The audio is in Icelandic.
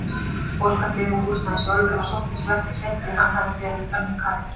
Óskar byggði bústaðinn sjálfur en sóttist verkið seint því hann hafði verið önnum kafinn.